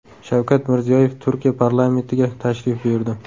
Shavkat Mirziyoyev Turkiya parlamentiga tashrif buyurdi.